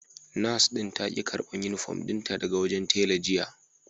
Nurse din ta ki karban Uniform dinta daga wurin tela jiya